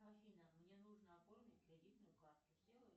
афина мне нужно оформить кредитную карту сделай